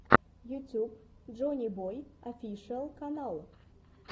ютьюб джоннибой офишиал канал